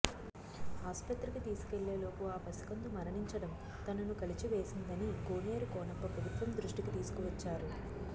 ఆస్పత్రికి తీసుకెళ్లేలోపు ఆ పసికందు మరణించడం తనను కలచివేసిందని కోనేరు కోనప్ప ప్రభుత్వం దృష్టికి తీసుకువచ్చారు